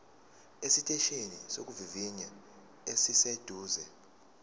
esiteshini sokuvivinya esiseduze